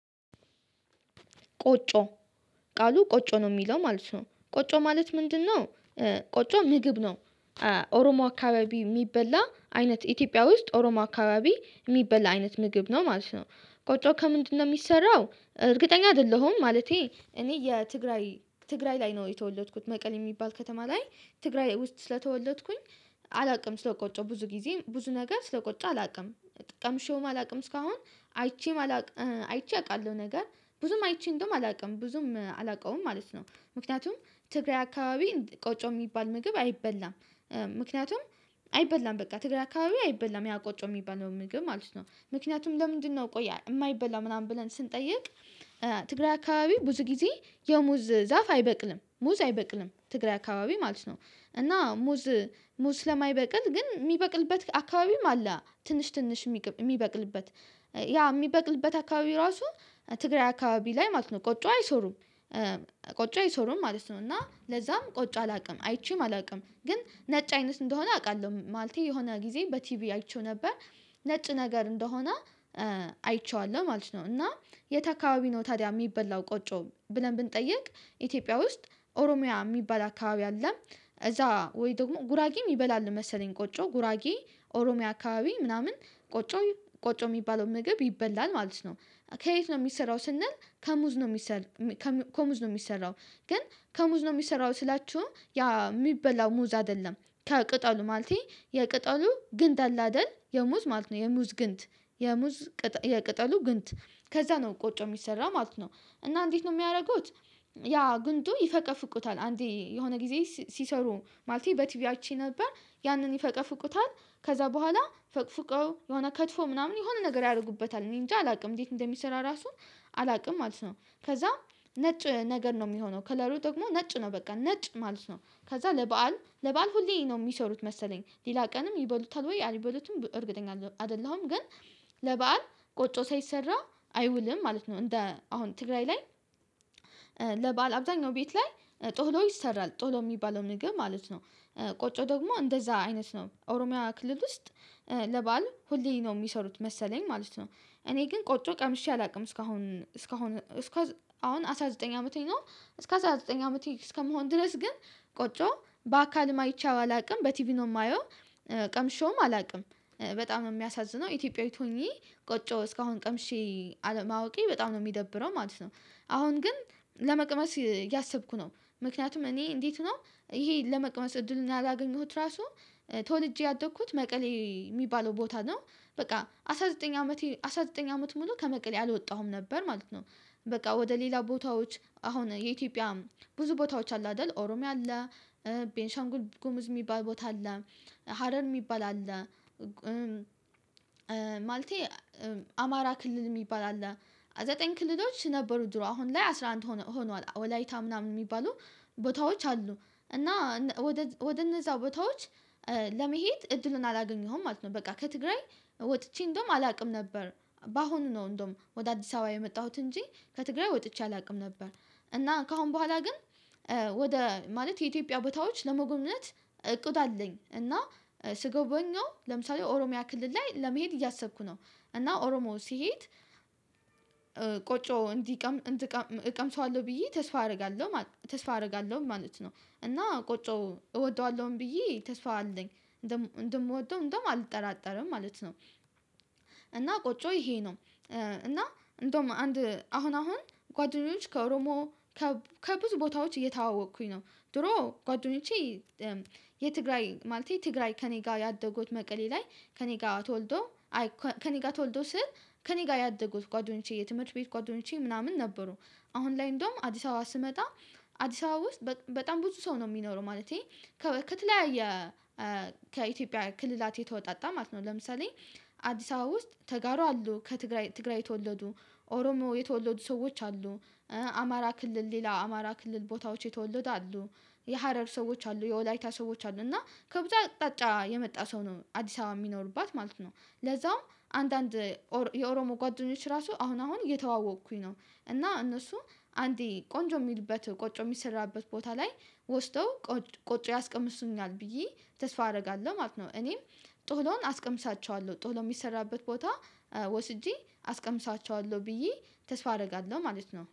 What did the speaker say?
ቆጮ ቃሉ ቆጮ ነው የሚለው ማለት ነው። ቆጮ ማለት ምንድነው? ቆጮ ምግብ ነው። ኦሮሞ አካባቢ የሚበላ አይነት ኢትዮጵያ ውስጥ ኦሮሞ አካባቢ የሚበላ አይነት ምግብ ነው ማለት ነው። ቆጮ ከምንድነው የሚሰራው? እርግጠኛ አይደለሁም። ማለቴ እኔ የትግራይ ትግራይ ላይ ነው የተወለድኩት። መቀሌ የሚባል ከተማ ላይ። ትግራይ ውስጥ ስለተወለድኩኝ አላውቅም። ስለቆጮ ብዙ ጊዜ ብዙ ነገር ስለቆጨ አላውቅም። ቀምሼውም አላውቅም እስካሁን አይቼም አላውቅም አይቼ አውቃለሁ ነገር ብዙም አይቼ እንደውም አላውቅም። ብዙም አላውቀውም ማለት ነው። ምክንያቱም ትግራይ አካባቢ ቆጨ የሚባል ምግብ አይበላም። ምክንያቱም አይበላም በቃ ትግራይ አካባቢ አይበላም ያ ቆጮ የሚበላው ምግብ ማለት ነው። ምክንያቱም ለምንድነው ቆይ የማይበላ? ምናምን ብለን ስንጠይቅ ትግራይ አካባቢ ብዙ ጊዜ የሙዝ ዛፍ አይበቅልም። ሙዝ አይበቅልም ትግራይ አካባቢ ማለት ነው። እና ሙዝ ሙዝ ስለማይበቅል ግን የሚበቅልበት አካባቢም አለ ትንሽ ትንሽ የሚበቅልበት ያ የሚበቅልበት አካባቢ ራሱ ትግራይ አካባቢ ላይ ማለት ነው ቆጭ አይሰሩም ቆጭ አይሰሩም ማለት ነው እና ለዛም ቆጭ አላውቅም። አይቼም አላውቅም። ግን ነጭ አይነት እንደሆነ አውቃለሁ። ማለቴ የሆነ ጊዜ በቲቪ አይቼው ነበር ነጭ ነገር እንደሆነ አይቼዋለሁ ማለት ነው። እና የት አካባቢ ነው ታዲያ የሚበላው ቆጮ ብለን ብንጠይቅ። ኢትዮጵያ ውስጥ ኦሮሚያ የሚባል አካባቢ አለ። እዛ ወይ ደግሞ ጉራጌም ይበላል መሰለኝ ቆጮ ጉራጌ ኦሮሚያ አካባቢ ምናምን ቆጮ ቆጮ የሚባለው ምግብ ይበላል ማለት ነው። ከየት ነው የሚሰራው ስንል ከሙዝ ነው የሚሰራው ግን ከሙዝ ነው የሚሰራው ስላችሁ ያ የሚበላው ሙዝ አይደለም ከቅጠሉ ማለቴ የቅጠሉ ግንድ አለ አይደል የሙዝ ማለት ነው የሙዝ ግንት የሙዝ የቅጠሉ ግንት ከዛ ነው ቆጮ የሚሰራ ማለት ነው። እና እንዴት ነው የሚያደርጉት ያ ግንዱ ይፈቀፍቁታል አንዴ የሆነ ጊዜ ሲሰሩ ማለቴ በቲቪ አይቼ ነበር። ያንን ይፈቀፍቁታል ከዛ በኋላ ፈቅፍቀው የሆነ ከትፎ ምናምን የሆነ ነገር ያደርጉበታል። እኔ እንጃ አላውቅም። እንዴት እንደሚሰራ ራሱ አላውቅም ማለት ነው። ከዛ ነጭ ነገር ነው የሚሆነው ከለሉ ደግሞ ነጭ ነው በቃ ነጭ ማለት ነው። ከዛ ለበአል ለበአል ሁሌ ነው የሚሰሩት መሰለኝ ሌላ ቀንም ይበሉታል። ወይ አልበሉትም እርግጠኛ አይደለሁም። ግን ለበአል ቆጮ ሳይሰራ አይውልም። ማለት ነው። እንደ አሁን ትግራይ ላይ ለባል አብዛኛው ቤት ላይ ጥህሎ ይሰራል። ጥህሎ የሚባለው ምግብ ማለት ነው። ቆጮ ደግሞ እንደዛ አይነት ነው ኦሮሚያ ክልል ውስጥ ለበአል ሁሌ ነው የሚሰሩት መሰለኝ ማለት ነው። እኔ ግን ቆጮ ቀምሼ አላውቅም። እስካሁን እስካሁን እስካሁን አሁን አስራ ዘጠኝ አመቴ ነው። እስከ አስራ ዘጠኝ አመቴ እስከምሆን ድረስ ግን ቆጮ በአካልም አይቼ አላውቅም። በቲቪ ነው የማየው ቀምሼውም አላውቅም። በጣም የሚያሳዝነው ኢትዮጵያዊት ሆኜ ቆጮ እስካሁን ቀምሼ አለማወቄ በጣም ነው የሚደብረው ማለት ነው። አሁን ግን ለመቅመስ እያሰብኩ ነው። ምክንያቱም እኔ እንዴት ነው። ይሄ ለመቀመጥ እድሉን ያላገኘሁት ራሱ ተወልጄ ያደግኩት መቀሌ የሚባለው ቦታ ነው። በቃ አስራ ዘጠኝ አመቴ አስራ ዘጠኝ አመት ሙሉ ከመቀሌ አልወጣሁም ነበር ማለት ነው። በቃ ወደ ሌላ ቦታዎች አሁን የኢትዮጵያ ብዙ ቦታዎች አሉ። አይደል ኦሮሚያ አለ። ቤንሻንጉል ጉምዝ የሚባል ቦታ አለ። ሀረር የሚባል አለ። ማለቴ አማራ ክልል የሚባል አለ። ዘጠኝ ክልሎች ነበሩ ድሮ አሁን ላይ አስራ አንድ ሆኗል። ወላይታ ምናምን የሚባሉ ቦታዎች አሉ። እና ወደ እነዛው ቦታዎች ለመሄድ እድሉን አላገኘሁም። ማለት ነው በቃ ከትግራይ ወጥቼ እንደውም አላውቅም ነበር። በአሁኑ ነው እንደውም ወደ አዲስ አበባ የመጣሁት እንጂ ከትግራይ ወጥቼ አላውቅም ነበር። እና ከአሁን በኋላ ግን ወደ ማለት የኢትዮጵያ ቦታዎች ለመጎብነት እቁዱ አለኝ። እና ስገበኘው ለምሳሌ ኦሮሚያ ክልል ላይ ለመሄድ እያሰብኩ ነው። እና ኦሮሞ ሲሄድ ቆጮ እንዲቀም እቀምሰዋለሁ ብዬ ተስፋ አደርጋለሁ። ተስፋ አደርጋለሁ ማለት ነው። እና ቆጮ እወደዋለሁም ብዬ ተስፋ አለኝ። እንደምወደው እንደምወደው አልጠራጠርም ማለት ነው። እና ቆጮ ይሄ ነው እና እንደውም አንድ አሁን አሁን ጓደኞች ከኦሮሞ ከብዙ ቦታዎች እየተዋወቅኩኝ ነው። ድሮ ጓደኞቼ የትግራይ ማለቴ ትግራይ ከእኔ ጋር ያደጉት መቀሌ ላይ ከእኔ ጋር ተወልዶ ከእኔ ጋር ተወልዶ ስል ከእኔ ጋር ያደጉት ጓደኞቼ የትምህርት ቤት ጓደኞቼ ምናምን ነበሩ። አሁን ላይ እንደውም አዲስ አበባ ስመጣ አዲስ አበባ ውስጥ በጣም ብዙ ሰው ነው የሚኖረው ማለቴ ከበክ ከተለያየ ከኢትዮጵያ ክልላት የተወጣጣ ማለት ነው። ለምሳሌ አዲስ አበባ ውስጥ ተጋሩ አሉ። ከትግራይ ትግራይ የተወለዱ ኦሮሞ የተወለዱ ሰዎች አሉ። አማራ ክልል ሌላ አማራ ክልል ቦታዎች የተወለዱ አሉ። የሀረር ሰዎች አሉ። የወላይታ ሰዎች አሉ። እና ከብዛት አቅጣጫ የመጣ ሰው ነው አዲስ አበባ የሚኖርባት ማለት ነው። ለዛውም አንዳንድ የኦሮሞ ጓደኞች ራሱ አሁን አሁን እተዋወቅኩኝ ነው። እና እነሱ አንዴ ቆንጆ የሚልበት ቆጮ የሚሰራበት ቦታ ላይ ወስደው ቆጭ ያስቀምሱኛል ብዬ ተስፋ አደርጋለሁ ማለት ነው። እኔም ጥህሎን አስቀምሳቸዋለሁ። ጥህሎ የሚሰራበት ቦታ ወስጄ አስቀምሳቸዋለሁ ብዬ ተስፋ አደርጋለሁ ማለት ነው።